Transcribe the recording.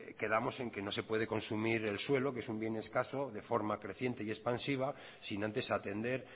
quedamos en que no se puede consumir el suelo que es un bien escaso de forma creciente y expansiva sin antes atender